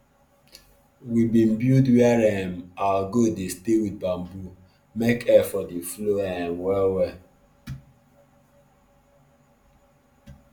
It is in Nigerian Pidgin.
we bin build where um out goat dey stay wit bamboo make air for dey flow um well well